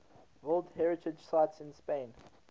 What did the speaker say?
world heritage sites in spain